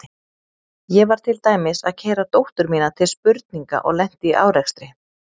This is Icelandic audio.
Ég var til dæmis að keyra dóttur mína til spurninga og lenti í árekstri.